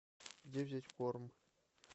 где взять корм